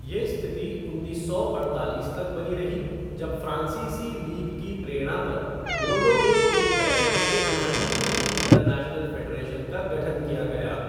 ये स्थिति उन्नीस सौ अड़तालीस तक बनी रही जब फ़्रांसीसी लीग की प्रेरणा पर बोर्डो में एक बैठक में रग्बी लीग इंटरनेशनल फ़ेडरेशन का गठन किया गया।